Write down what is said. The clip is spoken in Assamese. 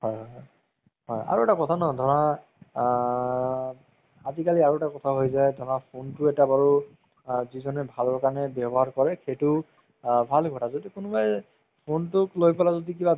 হয় হয় হয় আৰু এটা কথা ন ধৰা আ আজিকালি ধৰা আৰু এটা কথা হয় যাই phone তো এটা বাৰু আ যিজনে ভালৰ কাৰণে ৱ্যাবহাৰ কৰে সেইটো ভাল কথা যদি কুনোবাই phone তোক লই পেলাই যদি